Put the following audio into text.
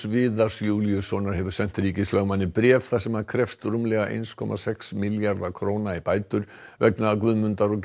Viðars Júlíussonar hefur sent ríkislögmanni bréf þar sem hann krefst rúmlega eins komma sex milljarða króna í bætur vegna Guðmundar og